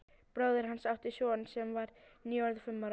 Bróðir hans átti son sem var nýorðinn fimm ára.